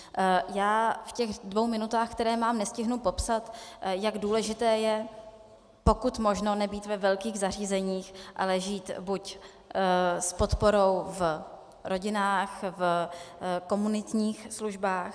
Já v těch dvou minutách, které mám, nestihnu popsat, jak důležité je pokud možno nebýt ve velkých zařízeních, ale žít buď s podporou v rodinách, v komunitních službách.